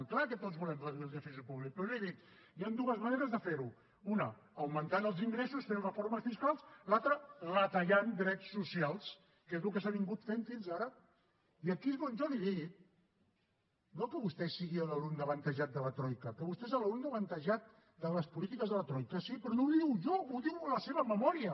és clar que tots volem reduir el dèficit públic però li he dit hi han dues maneres de fer ho una augmentant els ingressos fent reformes fiscals l’altra retallant drets socials que és el que s’ha anat fent fins ara i aquí és on jo li he dit no que vostè sigui l’alumne avantatjat de la troica que vostè és l’alumne avantatjat de les polítiques de la troica sí però no li ho dic jo ho diu a la seva memòria